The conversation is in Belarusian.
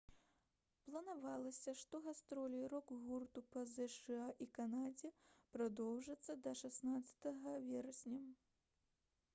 планавалася што гастролі рок-гурту па зша і канадзе прадоўжацца да 16 верасня